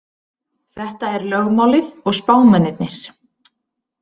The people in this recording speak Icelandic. Þetta er lögmálið og spámennirnir.